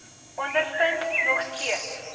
ondervind nog steeds